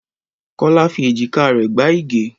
Kọ́lá fi èjìká rẹ̀ gbá Ige.